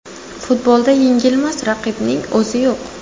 Futbolda yengilmas raqibning o‘zi yo‘q.